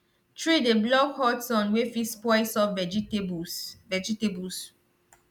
tree dey block hot sun wey fit spoil soft vegetables vegetables